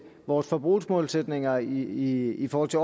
vores forbrugsmålsætninger i forhold til